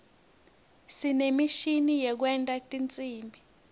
sinemishini yekwenta tinsimbi